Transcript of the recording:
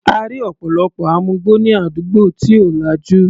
A rí ọ̀pọ̀lọpọ̀ amugbó ní àdúgbò tí ò lajú.